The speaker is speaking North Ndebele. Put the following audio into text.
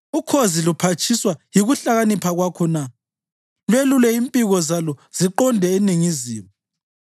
Ukhozi luphatshiswa yikuhlakanipha kwakho na lwelule impiko zalo ziqonde eningizimu?